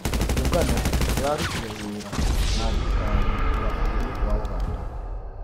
Kĩũngano kĩrarũtire wĩra na thirikari ya bũrũri wa Ũganda